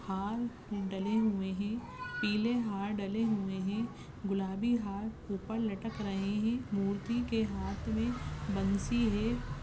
हार डले हुए है। पीले हार डले हुए है। गुलाबी हार उपर लटक रहे है। मूर्ति के हाथ मे बनसि है।